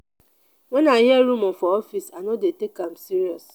wen i hear rumor for office i no dey take am serious.